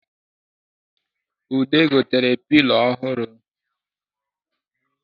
Ude gotere pilo ọhụrụ